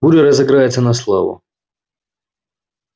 буря разыграется на славу